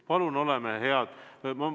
Palun oleme head!